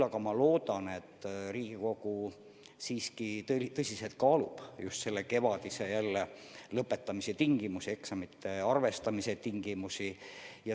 Ma loodan, et Riigikogu kaalub tõsiselt kevadise lõpetamise tingimusi, eksamite arvestamise tingimusi.